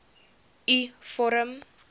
u vorm